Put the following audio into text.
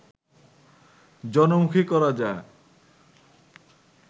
জনমুখী করা যায়